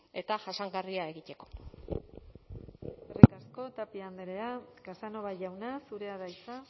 eta jasangarria egiteko eskerrik asko tapia andrea casanova jauna zurea da hitza